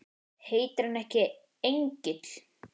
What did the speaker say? Heitir hann ekki Engill?